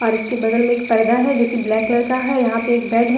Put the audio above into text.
इसके बगल में एक पर्दा है जो ब्लैक कलर का है यहां पे एक बेड है।